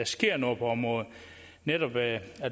sker noget på området netop ved at